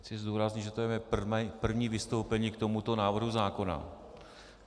Chci zdůraznit, že to je mé první vystoupení k tomuto návrhu zákona.